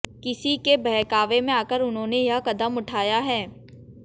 किसी के बहकावे में आकर उन्होंने यह कदम उठाया है